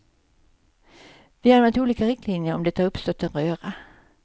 Vi har använt olika riktlinjer och det har uppstått en röra.